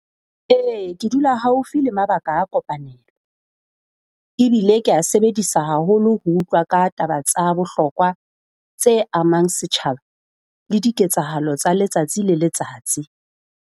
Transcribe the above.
Ee, ke dula haufi le mabaka a kopanelo, ebile kea sebedisa haholo ho utlwa ka taba tsa bohlokwa tse amang setjhaba le diketsahalo tsa letsatsi le letsatsi.